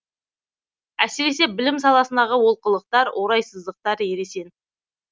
әсіресе білім саласындағы олқылықтар орайсыздықтар ересен